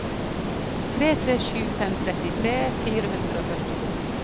tre tre sju fem trettitre fire hundre og førtito